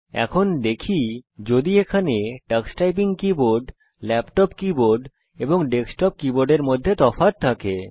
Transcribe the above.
এখন দেখি যদি এখানে টক্স টাইপিং কীবোর্ড ল্যাপটপ কীবোর্ড এবং ডেস্কটপ কীবোর্ডের মধ্যে তফাৎ থাকে